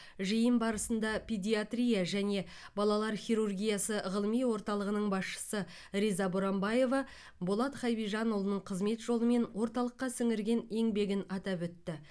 жиын барысында педиатрия және балалар хирургиясы ғылыми орталығының басшысы риза боранбаева болат хабижанұлының қызмет жолы мен орталыққа сіңірген еңбегін атап өтті